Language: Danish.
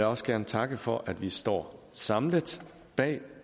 også gerne takke for at vi står samlet bag